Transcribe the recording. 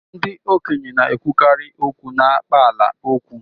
ndị okenye na-ekwukarị okwu n'akpaalaokwu